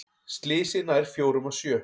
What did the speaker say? Slysið nær fjórum af sjö